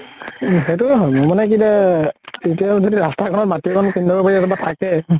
উম সেইটোয়ে হয়। মোৰ মানে কি তা এতিয়া যদি ৰাস্তা ঘৰ মাটি অকন কিনি লব পাৰি বা থাকে